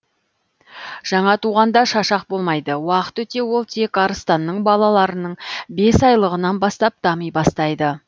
жаңа туғанда шашақ болмайды уақыт өте ол тек арыстанның балаларының бес айлылығынан бастап дами бастайды